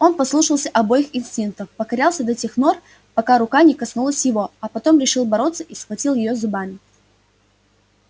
он послушался обоих инстинктов покорялся до тех нор пока рука не коснулась его а потом решил бороться и схватил её зубами